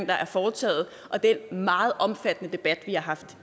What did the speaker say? der er foretaget og den meget omfattende debat vi har haft